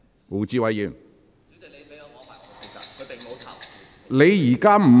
胡志偉議員，請提問。